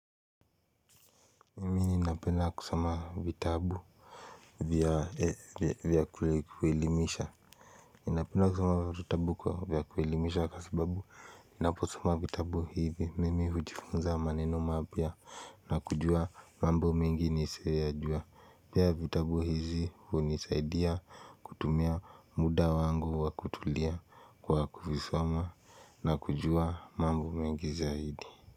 Mimi ninapenda kusoma vitabu vya kuelemisha ninapenda kusoma vitabu vya kuelimisha kwa sababu ninaposoma vitabu hivi mimi hujifunza maneno mapya. Na kujua mambo mingi pia vitabu hizi hunisaidia kutumia muda wangu wa kutulia kwa kuvisoma. Na kujua mambo mengi zaidi.